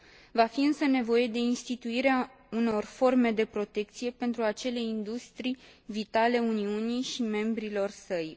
Va fi însă nevoie de instituirea unor forme de protecție pentru acele industrii vitale Uniunii și membrilor săi.